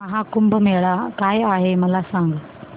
महा कुंभ मेळा काय आहे मला सांग